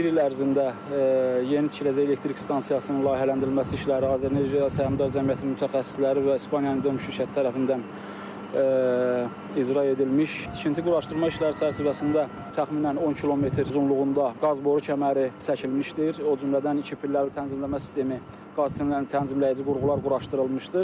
Bir il ərzində yeni tikiləcək elektrik stansiyasının layihələndirilməsi işləri Azər Enerji Səhmdar Cəmiyyətinin mütəxəssisləri və İspaniyanın döyüş şirkəti tərəfindən icra edilmiş, tikinti quraşdırma işləri çərçivəsində təxminən 10 km uzunluğunda qaz boru kəməri çəkilmişdir, o cümlədən iki pilləli tənzimləmə sistemi, qaz sistemlərinin tənzimləyici qurğular quraşdırılmışdır.